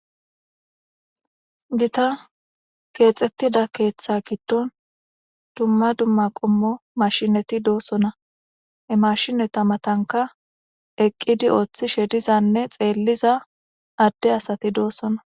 Gita keexxettida keeththa giddon dumma dumma qommo mashineti doosona emashineta matanka eqqidi ooththishe dizanne xeelliza adde asati doossona.